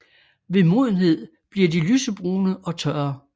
Ved modenhed bliver de lysebrune og tørre